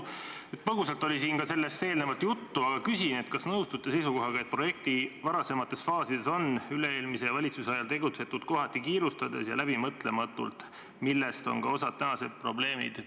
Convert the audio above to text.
Põgusalt oli siin sellest eelnevalt ka juttu, aga küsin, kas nõustute seisukohaga, et projekti varasemates faasides on üle-eelmise valitsuse ajal tegutsetud kohati kiirustades ja läbimõtlematult, mis on põhjustanud ka osa tänaseid probleeme.